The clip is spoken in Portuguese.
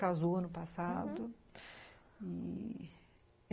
Casou ano passado, uhum. E